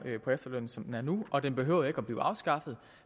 på efterløn som den er nu og den behøver jo ikke at blive afskaffet